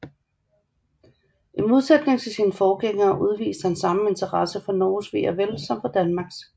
I modsætning til sine forgængere udviste han samme interesse for Norges ve og vel som for Danmarks